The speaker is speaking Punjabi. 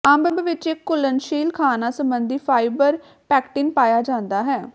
ਅੰਬ ਵਿੱਚ ਇੱਕ ਘੁਲ਼ਨਸ਼ੀਲ ਖਾਣਾ ਸਬੰਧੀ ਫਾਈਬਰ ਪੈਕਟਿਨ ਪਾਇਆ ਜਾਂਦਾ ਹੈ